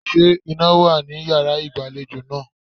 Ṣé iná wà ní yàrá ìgbàlejò náà?